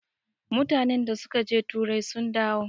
mutanen da suka je turai sun dawo